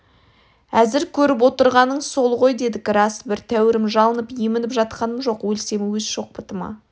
әзір көріп отырғаның сол ғой дедік рас бір тәуірім жалынып емініп жатқаным жоқ өлсем өз шоқпытыма